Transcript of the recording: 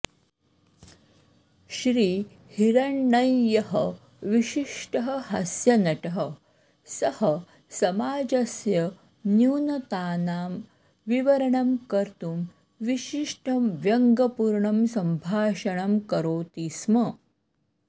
श्रीहिरण्णय्यः विशिष्टः हास्यनटः सः समाजस्य न्यूनतानां विवरणं कर्तुं विशिष्टं व्यङ्ग्यपूर्णं सम्भाषणं करोति स्म